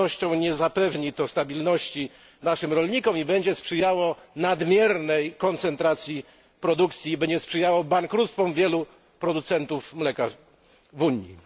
Z pewnością nie zapewni to stabilności naszym rolnikom oraz będzie sprzyjało nadmiernej koncentracji produkcji i bankructwom wielu producentów mleka w Unii.